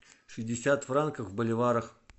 шестьдесят франков в боливарах